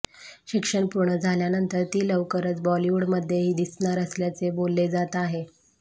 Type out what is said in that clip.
शिक्षण पूर्ण झाल्यानंतर ती लवकरच बॉलिवूडमध्येही दिसणार असल्याचे बोलले जात आहे